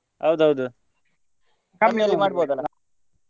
ಹೌದೌದು ಮಾಡ್ಬಹುದಲ್ಲ?